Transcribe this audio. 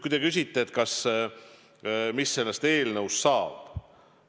Te küsite, et mis sellest eelnõust saab.